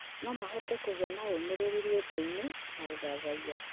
No mahote kũgĩa na ũũmĩrĩru rwĩmbo-inĩ na ũthathaiya.